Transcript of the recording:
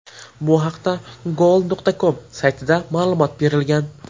Bu haqda Goal.com saytida ma’lumot berilgan .